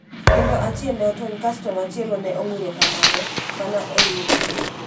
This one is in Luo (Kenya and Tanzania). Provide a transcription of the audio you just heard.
kendo achie ne otony kasto machielo ne ong'uro kamano, mana e higa ni.